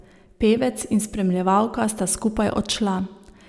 Pevec in spremljevalka sta skupaj odšla.